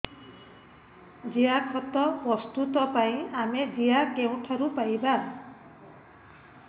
ଜିଆଖତ ପ୍ରସ୍ତୁତ ପାଇଁ ଆମେ ଜିଆ କେଉଁଠାରୁ ପାଈବା